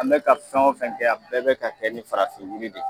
An be ka fɛn o fɛn kɛ a bɛɛ be ka kɛ ni farafin yiri de ye